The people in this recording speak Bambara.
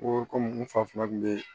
Ko kɔmi n fa kuma kun bɛ